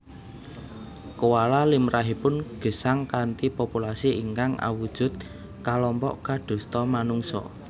Koala limrahipun gesang kanthi populasi ingkang awujud kalompok kadosta manungsa